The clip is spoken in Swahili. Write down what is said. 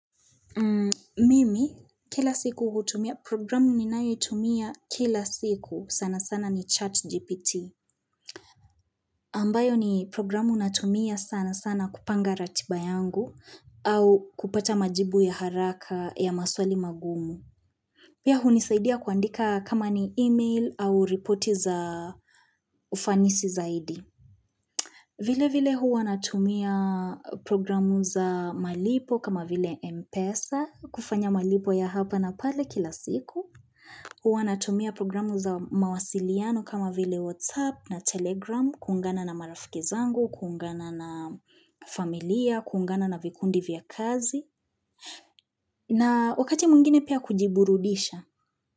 Mimi kila siku hutumia programu ninayo itumia kila siku sana sana ni chat GPT. Ambayo ni programu natumia sana sana kupanga ratiba yangu au kupata majibu ya haraka ya maswali magumu. Pia hunisaidia kuandika kama ni email au reporti za ufanisi zaidi. Vile vile huwa natumia programu za malipo kama vile Mpesa, kufanya malipo ya hapa na pale kila siku. Huwa natumia programu za mawasiliano kama vile WhatsApp na Telegram, kuungana na marafiki zangu, kuungana na familia, kuungana na vikundi vya kazi. Na wakati mwingine pia kujiburudisha.